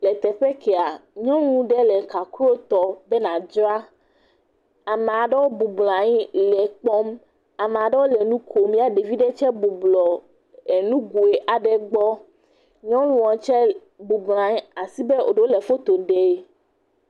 Edɔwɔla aɖewo wodo awu lɔbɔ woɖuɔ kuku ʋi eye wodze abe wole amikudɔwɔƒe. Ɖeka eme ve ele mɔshini aɖe ɖe asi eye edze abena ɖe wole mɔshini sia trom ene.